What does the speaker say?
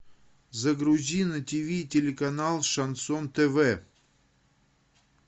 загрузи на тиви телеканал шансон тв